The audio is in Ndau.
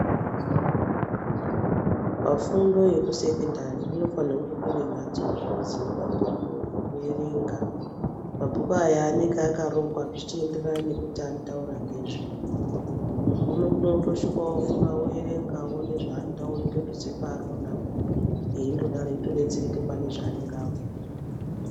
Pafundo yekusekendari kunofanirwe kunge kune mhatsozve dzine mabhuku ekuerenga. Mabhuku aya anenge akarongwa zvichienderana nekuti anotaura ngezvei. Munhu unokono kutosvika ovhura oerenga oone zvaanoda opetudze paarionapo, eyitodetsereke pane zvaanenge abvunzwa.